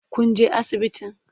Kun je asibitin?